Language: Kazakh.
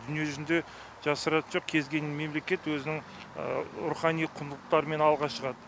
дүние жүзінде жасыратын жоқ кез келген мемлекет өзінің рухани құндылықтарымен алға шығады